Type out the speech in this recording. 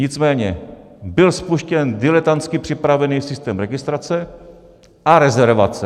Nicméně byl spuštěn diletantsky připravený systém registrace a rezervace.